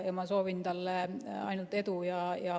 Ma soovin talle ainult edu.